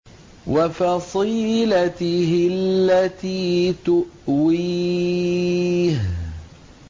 وَفَصِيلَتِهِ الَّتِي تُؤْوِيهِ